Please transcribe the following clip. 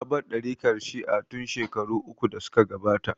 Ta bar ɗariƙar Shi'a tin shekaru uku da suka gabata